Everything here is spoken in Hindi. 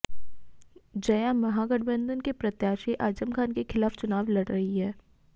जया महागठबंधन के प्रत्याशी आजम खान के खिलाफ चुनाव लड़ रही हैं